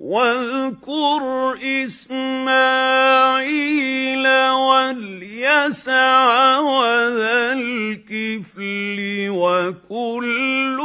وَاذْكُرْ إِسْمَاعِيلَ وَالْيَسَعَ وَذَا الْكِفْلِ ۖ وَكُلٌّ